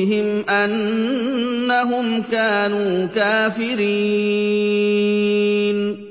أَنفُسِهِمْ أَنَّهُمْ كَانُوا كَافِرِينَ